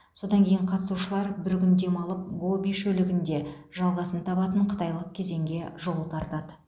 содан кейін қатысушылар бір күн демалып гоби шөлігінде жалғасын табатын қытайлық кезеңге жол тартады